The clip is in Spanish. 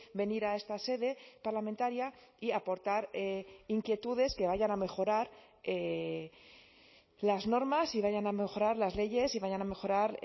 venir a esta sede parlamentaria y aportar inquietudes que vayan a mejorar las normas y vayan a mejorar las leyes y vayan a mejorar